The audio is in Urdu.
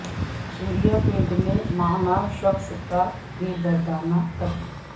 سوریا پیٹ میں معمر شخص کا بے دردانہ قتل